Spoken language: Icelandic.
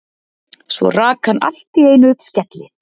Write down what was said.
Svo rak hann allt í einu upp skelli